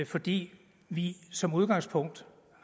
fordi vi som udgangspunkt